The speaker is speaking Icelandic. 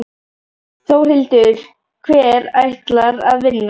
Þórhildur: Hver ætlar að vinna?